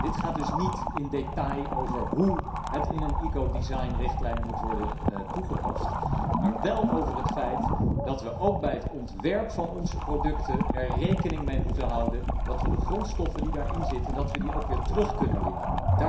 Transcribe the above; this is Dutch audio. Die gaat dus niet in detail over hoe een ecodesignrichtlijn moet worden toegepast, maar wel over het feit dat we ook bij het ontwerp van onze producten er rekening mee moeten houden dat we de grondstoffen die daarin zitten weer moeten kunnen terugwinnen.